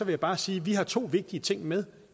jeg bare sige at vi har to vigtige ting med